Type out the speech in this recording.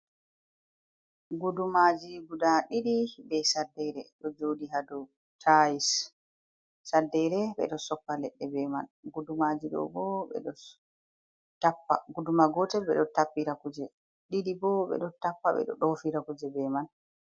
Gudumaaji gudaa ɗidi be saddere ɗo jooɗi haa do tayis. Saddeere ɓe ɗo soppa leɗɗe be man, gudumaaji ɗo bo, ɓe ɗo, guduma gootel ɓe ɗo tappira kuje, ɗiɗi bo ɓe ɗo tappa, ɓe ɗo ɗoofira kuje be man.